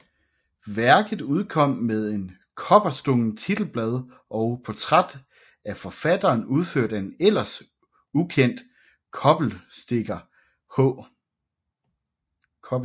Værket udkom med et kobberstukkent titelblad og portræt af forfatteren udført af en ellers ukendt kobberstikker H